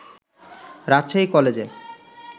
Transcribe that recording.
রাজশাহী কলেজে